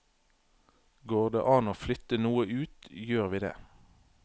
Går det an å flytte noe ut, gjør vi det.